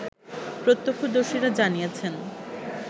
প্রত্যক্ষদর্শীরা জানিয়েছেন